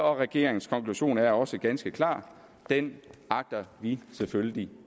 og regeringens konklusion er også ganske klar den agter vi selvfølgelig